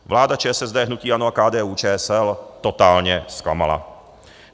Vláda ČSSD, hnutí ANO a KDU-ČSL totálně zklamala.